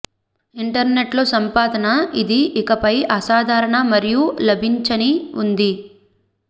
internet లో సంపాదన ఇది ఇకపై అసాధారణ మరియు లభించని ఉంది